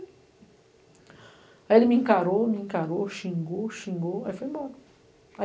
Aí ele me encarou, me encarou, xingou, xingou, aí foi embora.